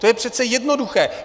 To je přece jednoduché.